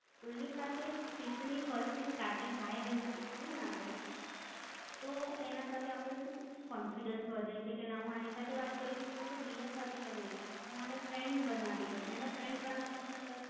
કોઈ ની સાથે speech ની first starting હૈ hello થી કરીએ ને અપને? તો એના સાથે કેવું confidence વધે છે કે ના હું એની સાથે વાત કરું તો બીજા સાથે કમ નય? હું અને friend બનાવી દવ, એને friend બનાવતા બનાવતા